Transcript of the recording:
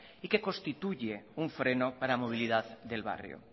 y que constituye un freno para movilidad del barrio